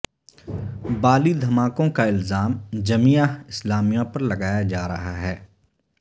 بالی دھماکوں کا الزام جمیعہ اسلامیہ پر لگایا جا رہا ہے